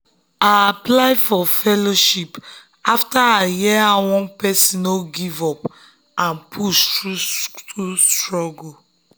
i apply for fellowship after i hear how one person no give up and push through school struggle.